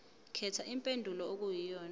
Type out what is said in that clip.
khetha impendulo okuyiyona